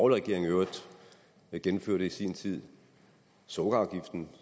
regering i øvrigt gennemførte i sin tid sukkerafgiften